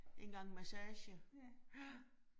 En gang massage. Ja